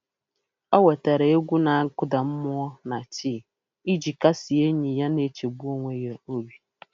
O wetara egwu na-akụda mmụọ na tii iji kasie enyi ya na-echegbu onwe ya obi.